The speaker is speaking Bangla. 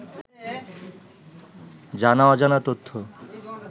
জানা অজানা তথ্য